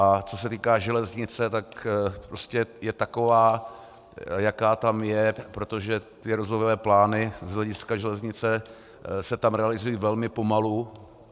A co se týká železnice, tak prostě je taková, jaká tam je, protože ty rozvojové plány z hlediska železnice se tam realizují velmi pomalu.